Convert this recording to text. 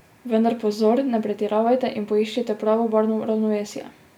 Vendar pozor, ne pretiravajte in poiščite pravo barvno ravnovesje.